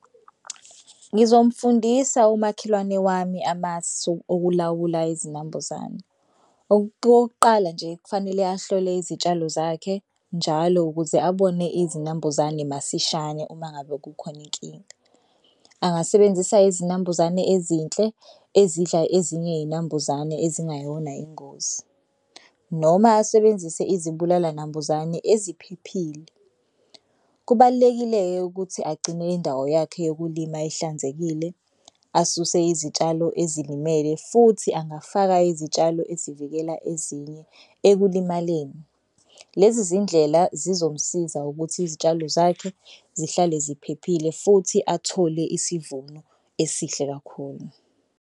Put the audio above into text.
Ngizomfundisa umakhelwane wami amasu okulawula izinambuzane. Okokuqala nje kufanele ahlole izitshalo zakhe njalo ukuze abone izinambuzane masishane uma ngabe kukhona inkinga. Angasebenzisa izinambuzane ezinhle ezidla ezinye izinambuzane ezingayona ingozi noma asebenzise izibulala nambuzane eziphephile. Kubalulekile-ke ukuthi agcinele indawo yakhe yokulima ihlanzekile asuse izitshalo ezilimele futhi angafaka izitshalo ezivikela ezinye ekulimaleni. Lezi zindlela zizomsiza ukuthi izitshalo zakhe zihlale ziphephile futhi athole isivuno esihle kakhulu.